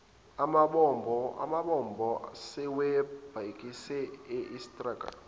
amabombo sebewabhekise estanger